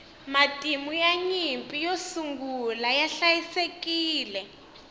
matimu ya nyimpi yo sungula ya hliayisekile